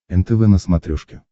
нтв на смотрешке